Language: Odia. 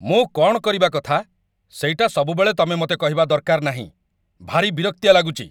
ମୁଁ କ'ଣ କରିବା କଥା ସେଇଟା ସବୁବେଳେ ତମେ ମତେ କହିବା ଦରକାର ନାହିଁ । ଭାରି ବିରକ୍ତିଆ ଲାଗୁଚି ।